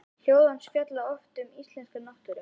Ljóð hans fjalla oft um íslenska náttúru.